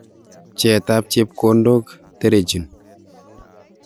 Pcheet ab chepkondok terechin.